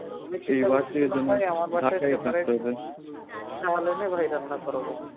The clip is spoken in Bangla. চাল এনে ভাই রান্না করবো